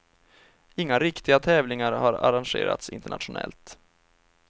Inga riktiga tävlingar har arrangerats internationellt.